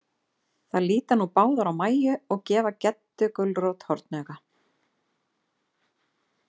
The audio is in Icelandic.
Þær líta nú báðar á Mæju, og gefa Geddu gulrót hornauga.